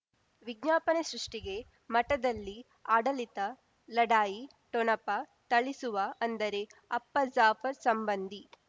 ವಿಜ್ಞಾಪನೆ ಸೃಷ್ಟಿಗೆ ಮಠದಲ್ಲಿ ಆಡಳಿತ ಲಢಾಯಿ ಠೊಣಪ ಥಳಿಸುವ ಅಂದರೆ ಅಪ್ಪ ಜಾಫರ್ ಸಂಬಂಧಿ